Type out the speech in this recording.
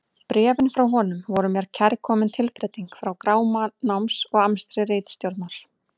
Bréfin frá honum voru mér kærkomin tilbreyting frá gráma náms og amstri ritstjórnar.